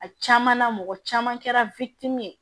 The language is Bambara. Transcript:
A caman na mɔgɔ caman kɛra ye